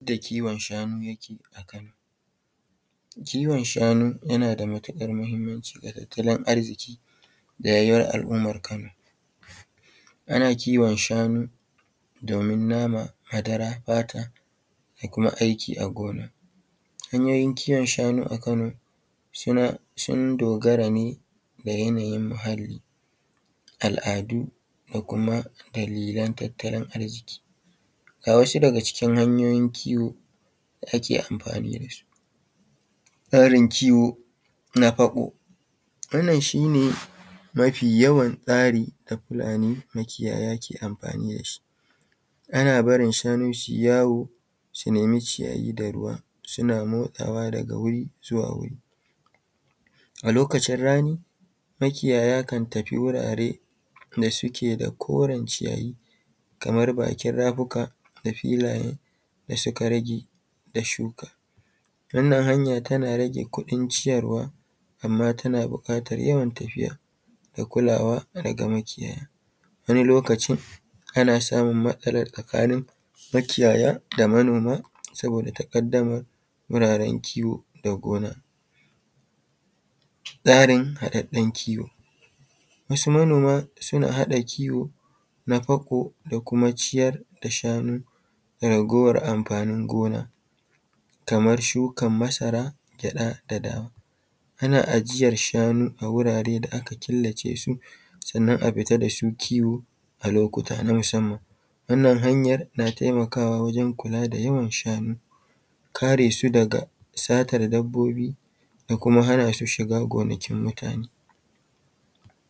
Yadda kiwon shanu yake a Kano. Kiwon shanu yana da matuƙar mahimmanci da tattalin arziƙi ga rayuwar al’ummar Kano. Ana kiwon shanu domin nama, madara, fata da kuma aiki a gona. Hanyoyin kiwon shanu a Kano suna, sun dogara ne da yanayin muhalli, al’adu da kuma dalilan tattalin arziƙi. Ga wasu daga cikin hanyoyin kiwo da ake amfani da su: Tsarin kiwo na faƙo; wannan shi ne mafi yawan tsari da Fulani makiyaya ke amfani da shi, ana barin shanu su yi yawo su nemi ciyayi da ruwa suna motsawa daga wuri zuwa wuri. A lokacin rani makiyaya kan tafi wurare da suke da koren ciyayi kamar bakin rafuka da filaye da suka rage da shuka. Wannan hanya tana rage kuɗin ciyarwa amma tana buƙatar yawan tafiya da kulawa daga makiyaya, wani loacin ana samun matsala tsakanin makiyaya da manoma saboda taƙaddamar wuraren kiwo da gona. Tsarin haɗaɗɗen kiwo: Wasu manoma suna haɗa kiwo na fako da kuma ciyar da shanu da raguwar amfanin gona kamar shukan masara, gyaɗa da dawa. Ana ajiyar shanu a wurare da aka killace su, sannan a fita da su kiwo a lokuta na musamman. Wannan hanyar na taimakawa wajen kula da yawan shanu, karesu daga satar dabbobi da kuma hana su shiga gonakin mutane.